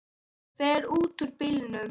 Hún fer út úr bílnum.